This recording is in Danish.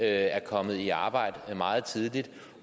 er kommet i arbejde meget tidligere